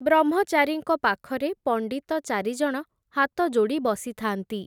ବ୍ରହ୍ମଚାରୀଙ୍କ ପାଖରେ, ପଣ୍ଡିତ ଚାରିଜଣ ହାତଯୋଡ଼ି ବସିଥାନ୍ତି ।